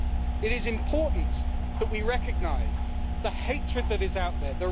It is important that we recognise the hatred that is out there.